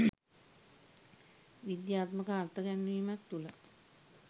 විද්‍යාත්මක අර්ථ ගැන්වීමක් තුළයි